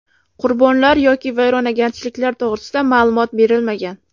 Qurbonlar yoki vayronagarchiliklar to‘g‘risida ma’lumot berilmagan.